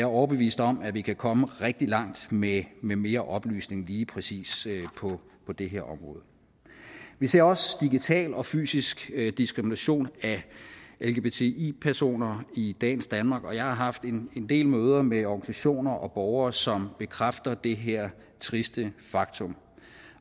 overbevist om at vi kan komme rigtig langt med med mere oplysning lige præcis på det her område vi ser også digital og fysisk diskrimination af lgbti personer i dagens danmark og jeg har haft en del møder med organisationer og borgere som bekræfter det her triste faktum